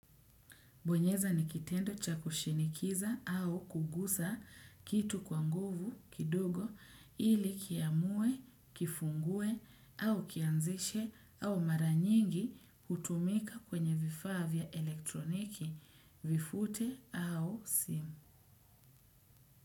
Bonyeza ni kitendo cha kushinikiza au kugusa kitu kwa nguvu kidogo ili kiamue, kifungue au kianzishe au mara nyingi hutumika kwenye vifaa vya elektroniki vifute au simu.